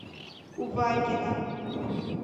увакина